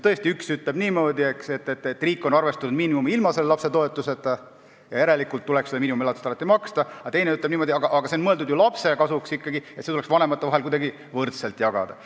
Tõesti, üks ütleb, et riik on arvestanud miinimumi ilma selle lapsetoetuseta, järelikult tuleks seda miinimumelatist alati maksta, aga teine ütleb niimoodi, et see on mõeldud ikkagi lapse kasuks ja tuleks vanemate vahel kuidagi võrdselt ära jagada.